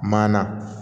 Ma na